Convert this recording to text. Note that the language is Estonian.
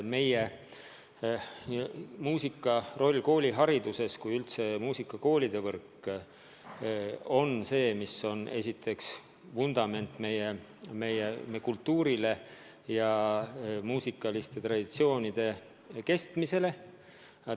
Muusika roll koolihariduses on suur ja muusikakoolide võrk on esiteks vundament meie kultuurile ja muusikaliste traditsioonide kestmisele.